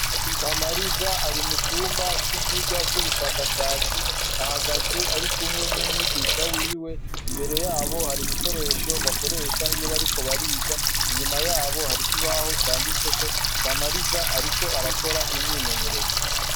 Kamariza ari mucumba c'ivyigwa vy'ubushakashatsi, ahagaze arikumwe n'umwigisha wiwe, imbere yabo hari ibikoresho bakoresha iyo bariko bariga, inyuma yabo hari ikibaho canditseko, Kamariza ariko arakora imyimenyerezo.